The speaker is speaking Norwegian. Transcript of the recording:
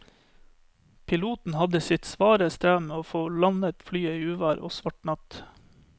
Piloten hadde sitt svare strev med å få landet flyet i uvær og svart natt.